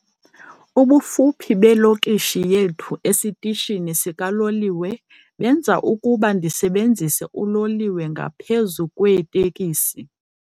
Ubufuphi belokishi yethu esitishini sikaloliwe benza ukuba ndisebenzise uloliwe ngaphezu kweeteksi.